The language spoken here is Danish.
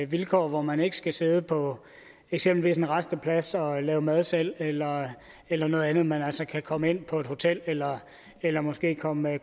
vilkår hvor man ikke skal sidde på eksempelvis en rasteplads og lave mad selv eller eller noget andet men altså kan komme ind på et hotel eller eller måske komme